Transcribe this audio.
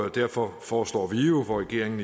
et derfor foreslår vi regeringen